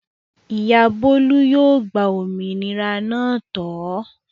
Ìyá Bólú yóò gba òmìnira náà tọ̀ ọ́.